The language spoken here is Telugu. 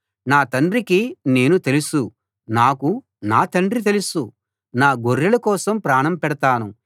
నా తండ్రికి నేను తెలుసు నాకు నా తండ్రి తెలుసు నా గొర్రెల కోసం ప్రాణం పెడతాను